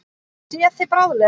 Sé þig bráðlega.